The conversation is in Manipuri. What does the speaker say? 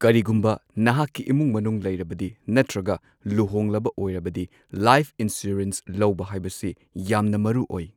ꯀꯔꯤꯒꯨꯝꯕ ꯅꯍꯥꯛꯀꯤ ꯏꯃꯨꯡ ꯃꯅꯨꯡ ꯂꯩꯔꯕꯗꯤ ꯅꯠꯇ꯭ꯔꯒ ꯂꯨꯍꯣꯡꯂꯕ ꯑꯣꯏꯔꯕꯗꯤ ꯂꯥꯏꯐ ꯏꯟꯁꯨꯔꯦꯟꯁ ꯂꯧꯕ ꯍꯥꯏꯕꯁꯤ ꯌꯥꯝꯅ ꯃꯔꯨꯑꯣꯏ꯫